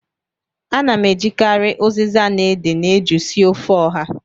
Ana m ejikarị ụzịza na ede na eju sie ofe ọha